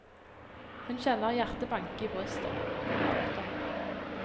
Hun kjenner hjertet banke i brystet. punktum